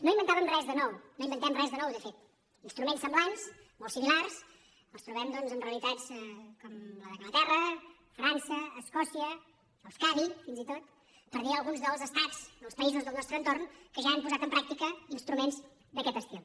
no inventàvem res de nou no inventem res de nou de fet instruments semblants molt similars els trobem doncs en realitats com la d’anglaterra frança escòcia euskadi fins i tot per dir alguns dels estats o els països del nostre entorn que ja han posat en pràctica instruments d’aquest estil